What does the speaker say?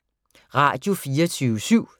Radio24syv